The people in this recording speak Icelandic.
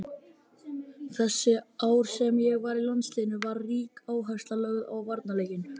Þessi ár sem ég var í landsliðinu var rík áhersla lögð á varnarleikinn.